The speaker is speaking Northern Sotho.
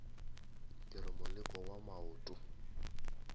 ke re moleko wa maoto